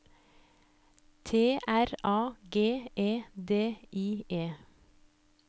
T R A G E D I E